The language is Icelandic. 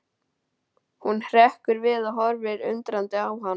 Hún hrekkur við og horfir undrandi á hann.